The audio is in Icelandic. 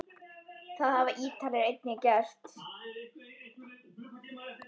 Það hafa Ítalir einnig gert.